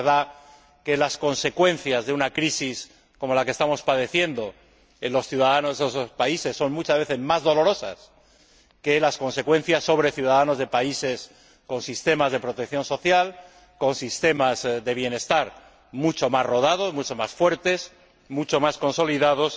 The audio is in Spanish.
Es verdad que las consecuencias de una crisis como la que estamos padeciendo son, para los ciudadanos de esos países, muchas veces más dolorosas que las consecuencias para los ciudadanos de países con sistemas de protección social, con sistemas de bienestar mucho más rodados, mucho más fuertes, mucho más consolidados.